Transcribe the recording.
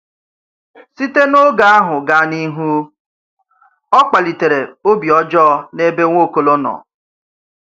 Site n’oge áhù gaa n’ihu, ọ̀ kpalìtèrè obi ọ̀jọọ n’ebe Nwaokolo nọ.